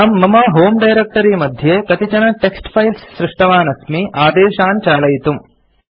अहम् मम होमे डायरेक्ट्री मध्ये कतिचन टेक्स्ट् फाइल्स् सृष्टवान् अस्मि आदेशान् चालयितुम्